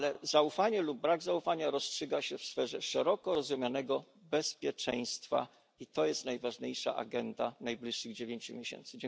Ale zaufanie lub brak zaufania rozstrzyga się w sferze szeroko rozumianego bezpieczeństwa i to jest najważniejsza agenda najbliższych dziewięciu miesięcy.